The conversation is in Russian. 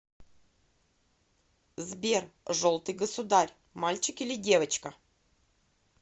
сбер желтый государь мальчик или девочка